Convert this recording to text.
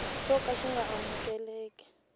xo ka xi nga amukeleki